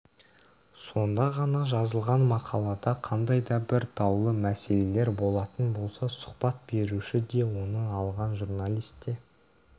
сонда ғана жазылған мақалада қандай да бір даулы мәселелер болатын болса сұхбат беруші де оны алған журналист те